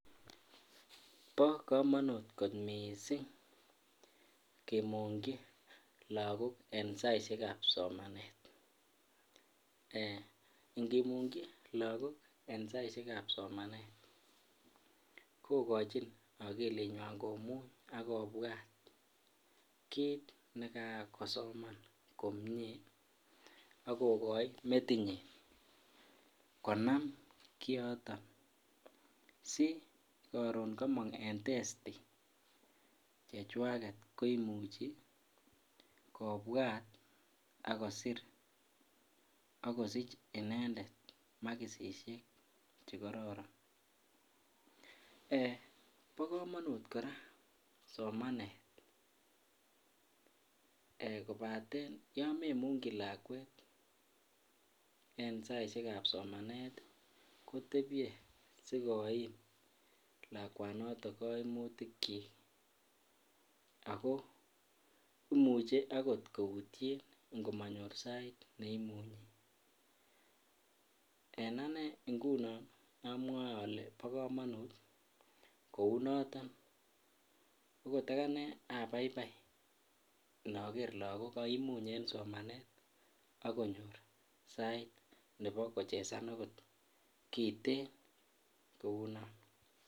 Bo komonut kot missing kimugyi lagok en saishekab somanet. Ngimugyi lagok en saishekab somanet kogochin okilinywan komuny ak kobwat kit ne kakosoman komie agogoi metinyin konam kioton si koron komongo en testi chewaget koimuchi kobwat ak kosir ak kosich inendet maksiek che koron. Bo komonut koraa somanet ee kobaten yon memungyi lakwet en saishekab somanet kotebye si koim lakwanoton koimutikyik ako imuche okot koutyen ango monyor sait ne imunyen. En ane ngunon amwoe ole bo komonut kouu noton. Okot anee abaibi inoker logok koimuny en somanet ak konyor sait nebo kochezan okot kiten kouu non